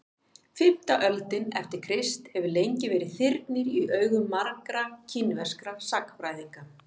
fimmta öldin eftir krist hefur lengi verið þyrnir í augum margra kínverskra sagnfræðinga